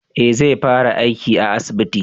Eh zai fara aiki a asibiti